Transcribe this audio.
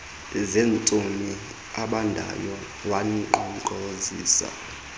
zentsomi ebandayo wankqonkqozisa